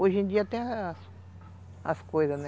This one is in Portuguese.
Hoje em dia tem as coisas, né?